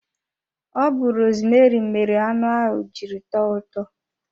Ọ bu rosmeri mere anụ ahụ jiri tọọ ụtọ